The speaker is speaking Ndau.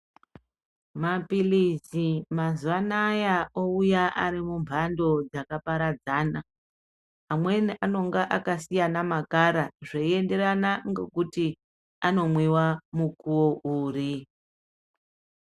Mapirizi mazuwa anaya ouya ari mumbando dzakaparadzana, amweni anenge akasiyana amakara, zveienderana ngekuti anomwiwa mukuwo uri.